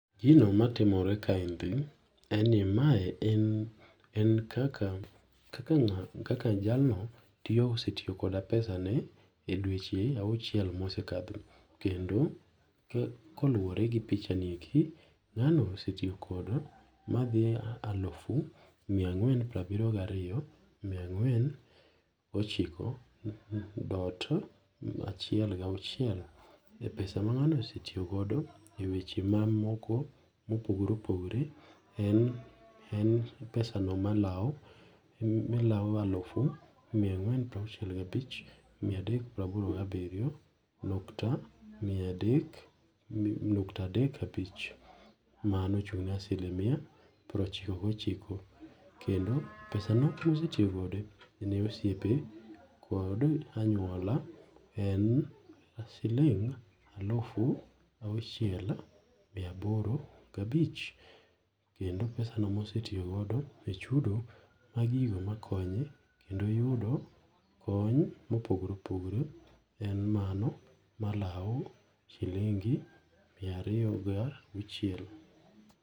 Gino matimore kaendi, eni mae en, en kaka kaka nga kaka jalno tiyo osetiyo kada pesane e dweche auchiel mosekatho kendo koluwore gi pichani eki ngano osetiyo kodi madhi alufu mia ang'wen prabiriyo ga ariyo mia ang'wen gochiko dot achiel gauchiel e pesa ma nga'no osetiyo godo e weche mamoko mopogore opogore en pesano malawo malawo alufu mia angwen prauchiel gabich, mia adek praboro gabirio ,nukta miadek nukta adek abich mano ochungne asilimia prochiko gochiko kendo pesano kosetiyo godo, ne osiepe kod anyuola en siling alufu auchiel e aboro ga bich kendo pesano mosetiyo godo e chudo mag gigo makonye kendo yudo kony mopogore opogore en mano malau shilingi mia ariyo gi auchiel